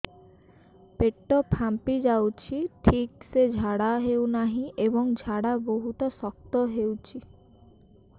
ପେଟ ଫାମ୍ପି ଯାଉଛି ଠିକ ସେ ଝାଡା ହେଉନାହିଁ ଏବଂ ଝାଡା ବହୁତ ଶକ୍ତ ହେଉଛି